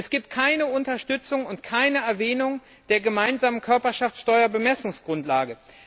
Es gibt keine Unterstützung und keine Erwähnung der gemeinsamen Körperschaftssteuer Bemessungsgrundlage.